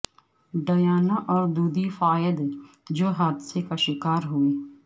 Diana اور Dodi Fayed جو حادثے کا شکار ہوئے